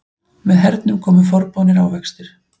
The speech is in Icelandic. Með hernum komu forboðnir ávextir.